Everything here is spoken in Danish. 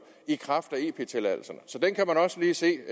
i kraft af ep tilladelserne så den kan man også lige se